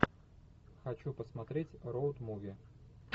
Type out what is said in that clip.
хочу посмотреть роуд муви